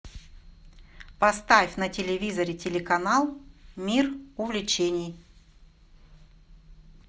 поставь на телевизоре телеканал мир увлечений